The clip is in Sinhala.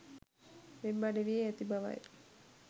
වෙබ් අඩවියේ ඇති බවයි